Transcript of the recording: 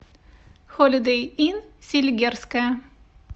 холидэй инн селигерская